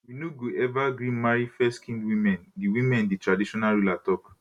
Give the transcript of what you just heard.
we no go eva gree marry fairskinned women di women di traditional ruler tok